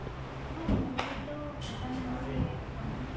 ହଁ ମୋର ତ canara bank ରେ account ଅଛି